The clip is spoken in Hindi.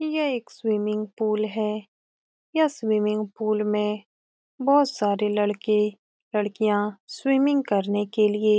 ये एक स्विमिंग पूल है यह स्विमिंग पूल में बहुत सारे लड़के लड़कियां स्विमिंग करने के लिए --